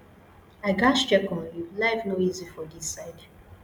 i gatz check on you life no easy for this side